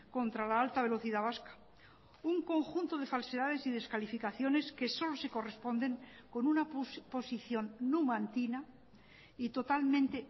contra la alta velocidad vasca un conjunto de falsedades y descalificaciones que solo se corresponden con una posición numantina y totalmente